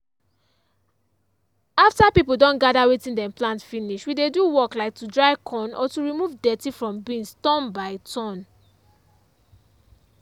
after people don gather wetin them plant finish we dey do work like to dry corn or to remove dirty from beans turn by turn.